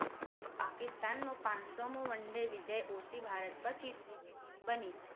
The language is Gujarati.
પાકિસ્તાનનો પાંચ સો‌ મો one day વિજય ઓસી ભારત પછી ત્રીજી team બની